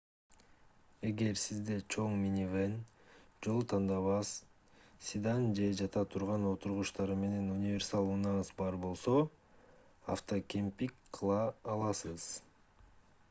эгер сизде чоң минивэн жол тандабас седан же жата турган отургучтары менен универсал унааңыз бар болсо автокемпинг кыла аласыз